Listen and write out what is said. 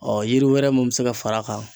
yiri wɛrɛ mun bi se ka far'a kan